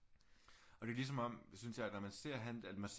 Og det er ligesom synes jeg at når man ser han at man ser